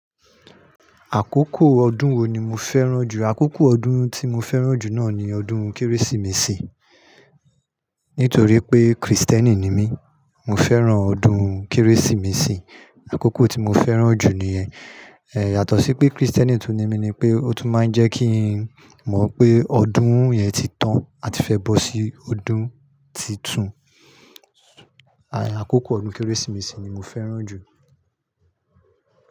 Àkókò ọdún wo ni mo fẹ́ràn jù? Àkókò ọdún tí mo fẹ́ràn jù náà ni ọdún Kérésìmesì. Nítorí pé Kristẹni ni mí, mo fẹ́ràn ọdún Kérésìmesì. Àkókò tí mo fẹ́ràn jù ní yẹn. Eh, yàtọ̀ sí pé Kristẹni tún ni mí ni pé ó tún máa ń jẹ́ kí n mọ̀ pé ọdún yẹn ti tán àti fẹ́ bọ́ sí ọdún titún. Àkókò ọdún Kérésìmesì ni mo fẹ́ràn jù.